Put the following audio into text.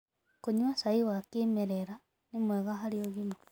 Kũnyua cai wa kĩmerera nĩ mwega harĩ ũgima